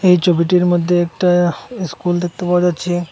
এই চবিটির মদ্যে একটা ইস্কুল দেখতে পাওয়া যাচ্ছে।